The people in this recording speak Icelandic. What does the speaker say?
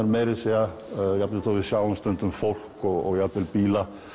meira að segja jafnvel þótt við sjáum stundum fólk og jafnvel bíla